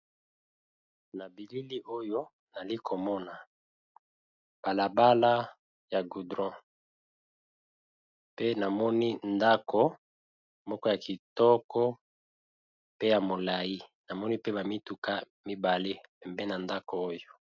Na bilili oyo, nali komona balabala ya gudron. Pe na moni ndako moko ya kitoko pe ya molai . Namoni pe ba mituka mibale pempeni ya ndako oyo.